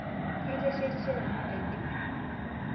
Kateshetishe nanu aidip